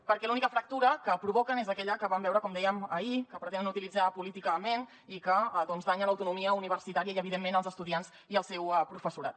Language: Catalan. perquè l’única fractura que provoquen és aquella que vam veure com dèiem ahir que pretenen utilitzar políticament i que danya l’autonomia universitària i evidentment els estudiants i el seu professorat